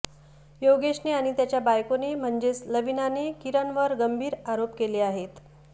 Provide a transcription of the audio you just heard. योगेशने आणि त्याच्या बायकोने म्हणजेच लवीनाने किरणवर गंभीर आरोप केले आहेत